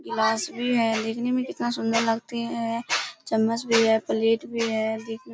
गिलास भी है देखने में कितना सुंदर लगती है चम्मच भी है प्लेट भी है।